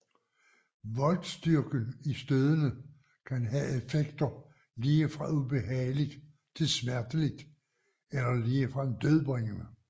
Voltstyrken i stødene kan have effekter lige fra ubehageligt til smerteligt eller ligefrem dødbringende